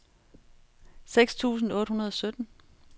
seks tusind otte hundrede og sytten